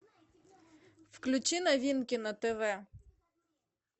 включи новинки на тв